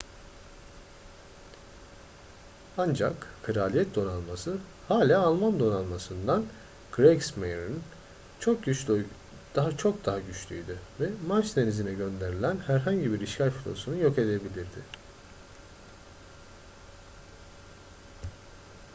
ancak kraliyet donanması hala alman donanmasından kriegsmarine çok daha güçlüydü ve manş denizi'ne gönderilen herhangi bir işgal filosunu yok edebilirdi